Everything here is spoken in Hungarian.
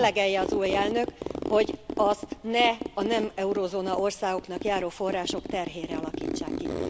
Mérlegelje az új elnök, hogy azt ne a nem eurózóna országoknak járó források terhére alakítsák ki.